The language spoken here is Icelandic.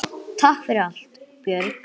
Takk fyrir allt, Björg.